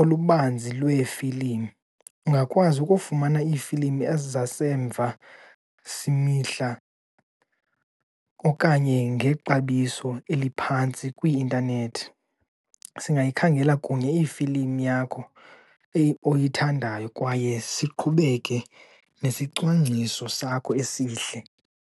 olubanzi lweefilimu. Ungakwazi ukufumana iifilimu ezizasemva simihla okanye ngexabiso eliphantsi kwi-intanethi. Singayikhangela kunye iifilimu yakho oyithandayo kwaye siqhubeke nesicwangciso sakho esihle.